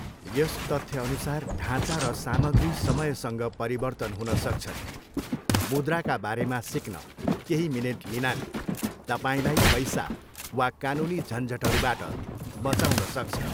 यस तथ्यअनुसार ढाँचा र सामग्री समयसँग परिवर्तन हुन सक्छन्, मुद्राका बारेमा सिक्न केही मिनेट लिनाले तपाईँलाई पैसा वा कानुनी झन्झटहरूबाट बँचाउन सक्छ।